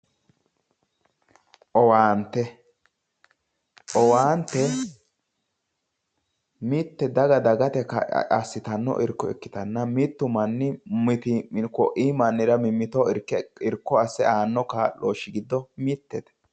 owaante. owaante mitte daga dagate assitanno irkko ikkitanna mittu manni mittii'miro kuii mannira irkko asse aanno kaa'looshshi giddo mitete.